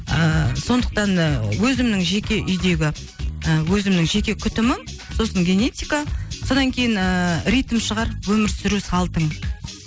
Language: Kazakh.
ыыы сондықтан да өзімнің жеке үйдегі і өзімнің жеке күтімім сосын генетика содан кейін ііі ритм шығар өмір сүру салтың